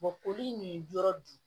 koli nin yɔrɔ dun